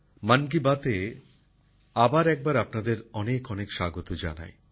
মন কি বাতএ আবার একবার আপনাদের অনেক অনেক স্বাগত জানাই